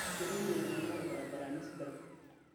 Ketum ltung'ana ilbarabarani sidan